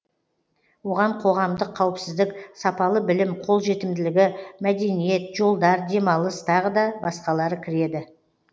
оған қоғамдық қауіпсіздік сапалы білім қолжетімділігі мәдениет жолдар демалыс тағы да басқалары кіреді